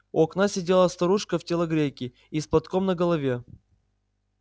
у окна сидела старушка в телогрейке и с платком на голове